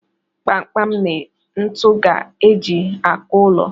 Kpamkpam na ntu ka e ji akụ ụlọ